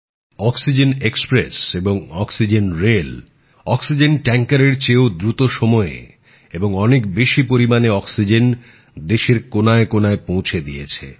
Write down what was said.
oxygen express এবং oxygen rail oxygen ট্যাঙ্কারএর চেয়েও দ্রুত সময়ে এবং অনেক বেশি পরিমাণে অক্সিজেন দেশের কোনায় কোনায় পৌঁছে দিয়েছে